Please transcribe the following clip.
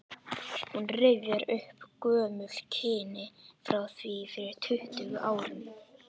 Hún rifjar upp gömul kynni frá því fyrir tuttugu árum.